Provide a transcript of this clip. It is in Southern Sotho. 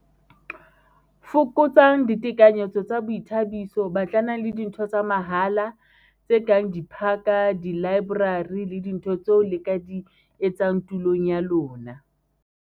Fokotsang ditekanyetso tsa boithabiso - Batlanang le dintho tsa mahala, tse kang diphaka, dilaeborari le dintho tseo le ka di etsang tulong ya lona.